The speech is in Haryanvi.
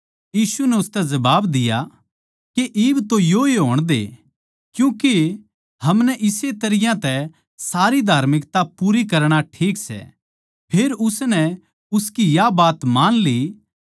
यीशु नै उसतै जवाब दिया कै इब तो योए होण दे क्यूँ कै हमनै इस्से तरियां तै सारी धार्मिकता पूरी करणा ठीक सै जिब उसनै उसकी बात मान ली